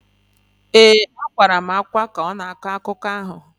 ee, akwakwara m ákwá ka ọ na-akọ akụkọ ahụ